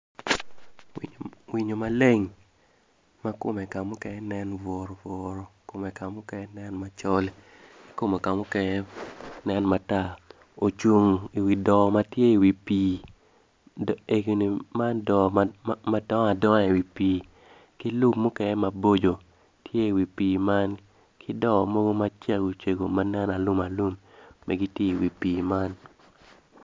Winyo maleng ma komme ka mukene nen buru buru kom ka mukene nen macol ki komme ka mukene nen matar ocung i wi doo ma tye iwi pii doo egini man doo ma dongo adonga i wi pii ki lum mukene maboco tye iwi pii man ki doo mogo macego cego ma nen alum alum be giti iwi pii man